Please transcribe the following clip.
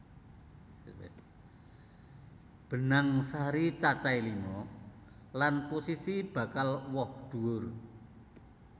Benang sari cacahé lima lan posisi bakal woh dhuwur